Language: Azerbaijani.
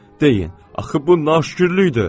Deyin, axı bu naşükürlükdür.